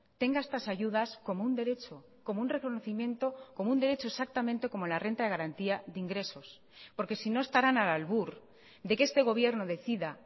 tenga estas ayudas como un derecho como un reconocimiento como un derecho exactamente como la renta de garantía de ingresos porque si no estarán al albur de que este gobierno decida